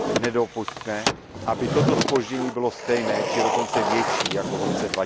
Nedopusťme, aby toto zpoždění bylo stejné či dokonce větší než v roce